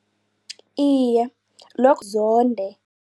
Iye, lokuzonde.